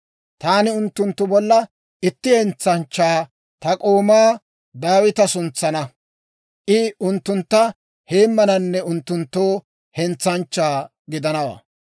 Taani unttunttu bollan itti hentsanchchaa, ta k'oomaa Daawita suntsana; I unttuntta heemmananne unttunttoo hentsanchchaa gidanawaa.